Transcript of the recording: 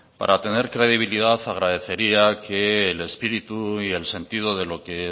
para tener credibilidad agradecería que el espíritu y el sentido de lo que